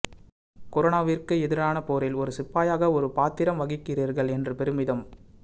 கரோனாவிற்கு எதிரான போரில் ஒரு சிப்பாயாக ஒரு பாத்திரம் வகிக்கிறீர்கள் என்று பெருமிதம்